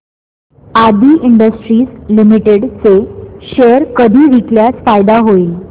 आदी industries limited चे share कधी विकल्यास फायदा होईल